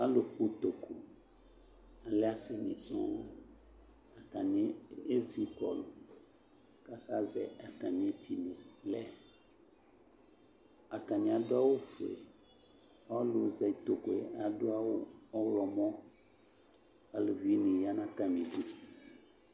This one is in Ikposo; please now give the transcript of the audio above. alʋkpɔ ʋtokʋ lɛ asinisɔɔ atani ezikɔlʋ azɛ atamietini lɛ atani aduawu fue ɔlʋzɛ utokʋe aduawu ɔɣlɔmɔ alʋvini yanatamidu